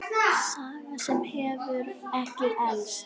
Saga sem hefur ekki elst.